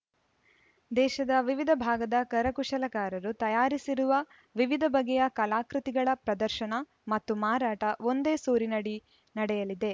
ದೇಶದ ವಿವಿಧ ಭಾಗದ ಕರಕುಶಲಕಾರರು ತಯಾರಿಸಿರುವ ವಿವಿಧ ಬಗೆಯ ಕಲಾಕೃತಿಗಳ ಪ್ರದರ್ಶನ ಮತ್ತು ಮಾರಾಟ ಒಂದೇ ಸೂರಿನಡಿ ನಡೆಯಲಿದೆ